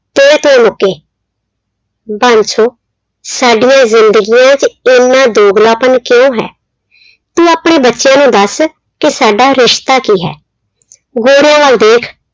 ਮੁੱਕੇ ਬਾਂਸੋ ਸਾਡੀਆਂ ਜ਼ਿੰਦਗੀਆਂ 'ਚ ਇੰਨਾ ਦੋਗਲਾਪਨ ਕਿਉਂ ਹੈ ਤੂੰ ਆਪਣੇ ਬੱਚਿਆਂ ਨੂੰ ਦੱਸ ਕਿ ਸਾਡਾ ਰਿਸਤਾ ਕੀ ਹੈ, ਗੋਰਿਆਂ ਵੱਲ ਦੇਖ